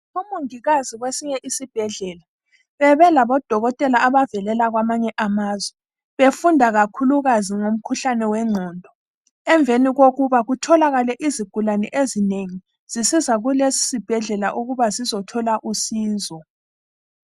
Omongikazi kwesinye isibhedlela bebela bodokotela abavelela kwamanye amazwe befunda kakhulukazi ngomkhuhlane wegqondo ,emveni kokuba kutholakale izigulane ezinengi zisiza kulesi sibhedlela ukuba zizothola usizo